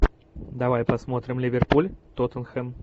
давай посмотрим ливерпуль тоттенхэм